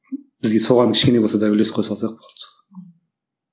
бізге соған кішкене болса да үлес қоса алсақ болды